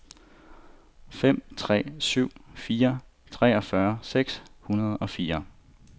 fem tre syv fire treogfyrre seks hundrede og fire